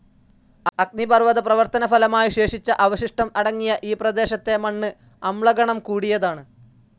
അഗ്നിപർവ്വത പ്രവർത്തനഫലമായി ശേഷിച്ച അവശിഷ്ടം അടങ്ങിയ ഈ പ്രദേശത്തെ മണ്ണ് അമ്ല ഗുണം കൂടിയതാണ്.